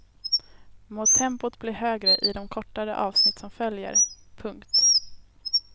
Må tempot bli högre i de kortare avsnitt som följer. punkt